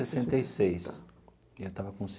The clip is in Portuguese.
Sessenta e seis. E eu estava com